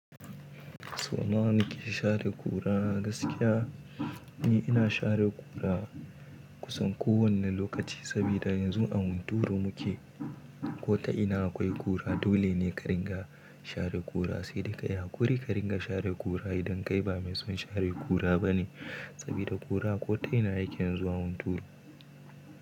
Sau nawa kike share kura? Gaskiya ni ina share kura kusan kowane lokaci, saboda yanzu a hunturu muke. Ko ta ina akwai kura dole ne ka ringa share kura, sai da kai ya ƙuri ka ringa share kura idan kai ba mai son share kura bane. Saboda kura ko ta ina yake zuwa hunturu.